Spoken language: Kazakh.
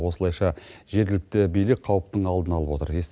осылайша жергілікті билік қауіптің алдын алып отыр